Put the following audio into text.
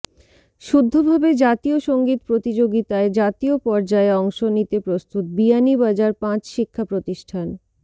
শুদ্ধভাবে জাতীয় সঙ্গীত প্রতিযোগিতায় জাতীয় পর্যায়ে অংশ নিতে প্রস্তুত বিয়ানীবাজার পাঁচ শিক্ষা প্রতিষ্ঠান